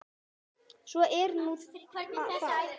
Svo er nú það.